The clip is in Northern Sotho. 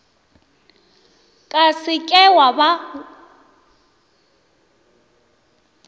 ka se ke wa ba